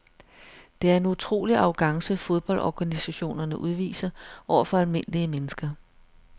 Det er en utrolig arrogance fodboldorganisationerne udviser over for almindelige mennesker.